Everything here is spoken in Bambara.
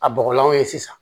A bɔgɔlanw ye sisan